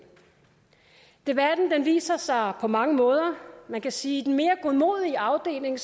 debatten viser sig på mange måder man kan sige i den mere godmodige afdeling